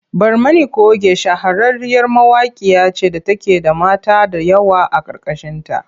Barmani coge shahararriyar mawaƙiya ce da take da mata da yawa a ƙarƙashinta.